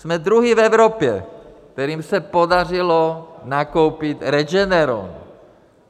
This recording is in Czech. Jsme druzí v Evropě, kterým se podařilo nakoupit Regeneron.